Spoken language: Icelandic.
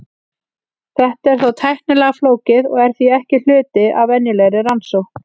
Þetta er þó tæknilega flókið og er því ekki hluti af venjulegri rannsókn.